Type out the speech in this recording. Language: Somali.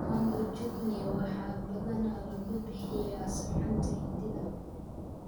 Mango chutney waxaa badanaa lagu bixiyaa suxuunta Hindida.